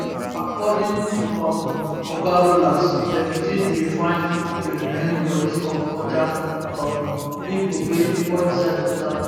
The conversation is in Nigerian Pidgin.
according to um oga rollas dem still dey find di remaining bodies of oda um pipo wey fall inside water